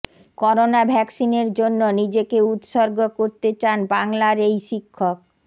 corona ভ্যাকসিনের জন্য নিজেকে উত্সর্গ করতে চান বাংলার এই শিক্ষক